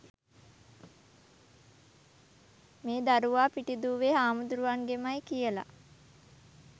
මේ දරුවා පිටිදුවේ හාමුදුරුවන්ගෙමයි කියලා.